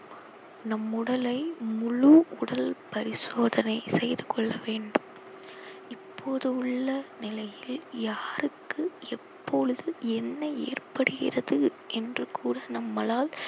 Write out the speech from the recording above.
நம் உடலை முழு உடல் பரிசோதனை செய்து கொள்ள வேண்டும் இப்போது உள்ள நிலையில் யாருக்கு எப்பொழுது என்ன ஏற்படுகிறது என்று கூட நம்மலால்